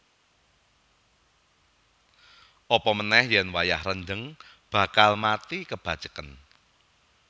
Apamanéh yèn wayah rendheng bakal mati kebaceken